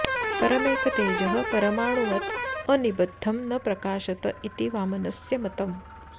परमेकतेजः परमाणुवत् अनिबध्दं न प्रकाशत इति वामनस्य मतम्